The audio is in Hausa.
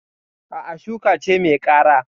A'a, shuka ce mai kara.